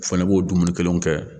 O fɛnɛ b'o dumuni kelen kɛ